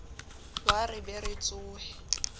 wa re be re tsohe